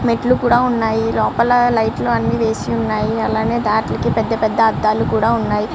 మెట్లు కూడా ఉన్నాయి లోపల లైట్లు అన్ని వేసి ఉన్నాయి అలాగే దాట్లకి పెద్ద పెద్ద అద్దాలు ఉన్నాయి .